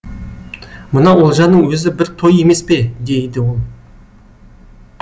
мына олжаның өзі бір той емес пе дейді ол